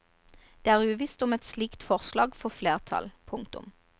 Det er uvisst om et slikt forslag får flertall. punktum